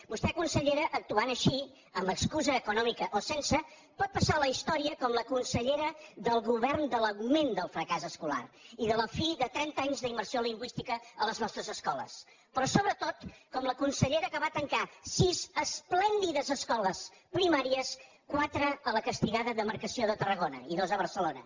vostè consellera actuant així amb excusa econòmica o sense pot passar a la història com la consellera del govern de l’augment del fracàs escolar i de la fi de trenta anys d’immersió lingüística a les nostres escoles però sobretot com la consellera que va tancar sis esplèndides escoles primàries quatre a la castigada demarcació de tarragona i dues a barcelona